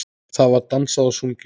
Það var dansað og sungið.